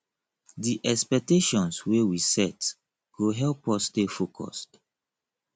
di expectations wey we set go help us stay focused